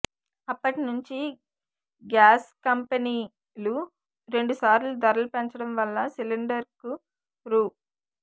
అప్పటినుంచి గ్యాస్కంపెనీ లు రెండుసార్లు ధరలు పెంచడం వల్ల సిలిండరుకు రూ